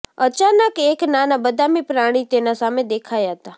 અચાનક એક નાના બદામી પ્રાણી તેના સામે દેખાયા હતા